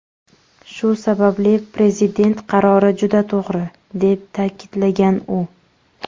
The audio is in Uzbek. Shu sababli Prezident qarori juda to‘g‘ri”, deb ta’kidlagan u.